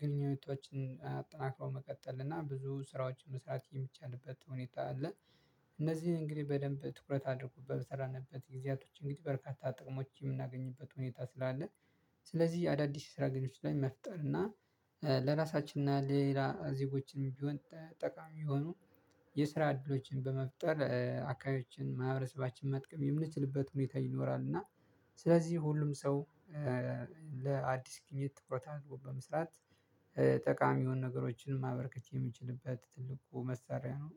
ግንኙነቶችን አጠናክረው መቀጠል እና ብዙ ስራዎችን መስራት የሚቻልበት ሁኔታ አለ እነዚህን እንግዲህ በደንብ ትኩረት አድርጉ፤ በሰራንበት ጊዜያቶች እንግዲህ በርካታ ጥቅሞች የምናገኝበት ሁኔታ ስላለ ስለዚህ አዳዲስ የስራ ግንኙነቶች ላይ መፍጠር እና ለራሳችን እና ለሌላ ዜጎችም ቢሆን ጠቃሚ የሆኑ የስራ እድሎችን በመፍጠር አካባቢያችንን ማህበረሰባችንን መጥቀም የምንችልበት ሁኔታ ይኖራል። እና ስለዚህ ሁሉም ሰው ለአዲስ ግኝት ትኩረት አድርጎ በመስራት ጠቃሚ የሆኑ ነገሮችን ማበርከት የምችልበት ትልቁ መሳሪያ ነው።